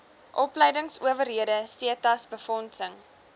opleingsowerhede setas befondsing